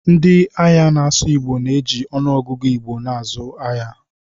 Ndị ahịa na-asụ Igbo na-eji ọnụọgụgụ Igbo na-azụ ngwaahịa.